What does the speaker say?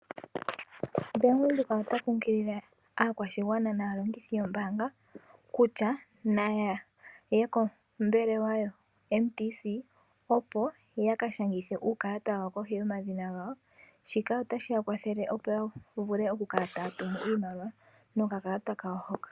Bank Windhoek ota kunkilile aakwashigwana naalongithi yo mbaanga kutya nayaye kombelewa ya Mtc opo yaka shangithe uukalata wawo kohi yomadhina gawo shika otashi ya kwathele oku kala taya tumu iimaliwa nokakalata kawo hoka.